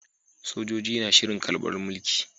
Sojoji na shirin karbar mulki